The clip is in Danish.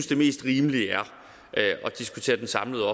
det mest rimelige er at diskutere den samlede